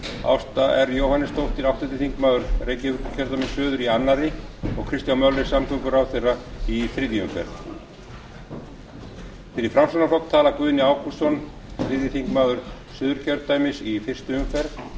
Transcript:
ásta r jóhannesdóttir áttunda reykjavíkurkjördæmi suður í öðru og kristján möller samgönguráðherra í þriðju umferð fyrir framsóknarflokk tala guðni ágústsson þriðji þingmaður suðurkjördæmis í fyrstu umferð